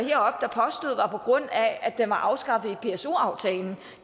at har på grund af at den var afskaffet i pso aftalen